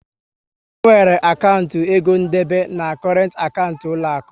E nwere akantị egondebe na korent akantị n'uloaku